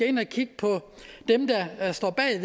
ind og kigge på dem der står bag